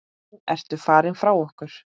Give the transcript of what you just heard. Nú ertu farin frá okkur.